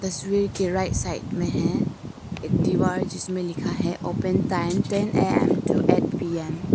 तस्वीर के right side में है एक दीवार जिसमें लिखा है open time ten A M to eight P M.